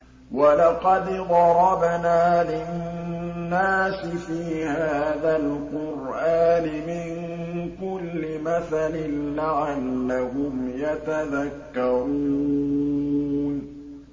وَلَقَدْ ضَرَبْنَا لِلنَّاسِ فِي هَٰذَا الْقُرْآنِ مِن كُلِّ مَثَلٍ لَّعَلَّهُمْ يَتَذَكَّرُونَ